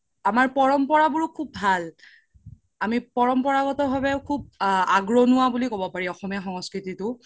আমাৰ পৰম্পৰা বোৰও খুব ভাল আমি পৰম্পৰাগাত ভাবে খুব আগৰোনুৱা বুলিও ক্'ব পাৰি অসমীয়া সংস্কৃতিতো